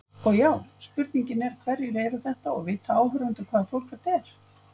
Og já, spurningin er hverjir eru þetta og vita áhorfendur hvaða fólk þetta er?